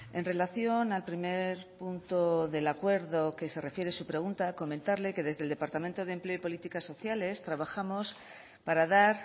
en relación al primer punto del acuerdo que se refiere su pregunta comentarle que desde el departamento de empleo y políticas sociales trabajamos para dar